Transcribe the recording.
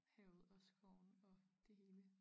Havet og skoven og det hele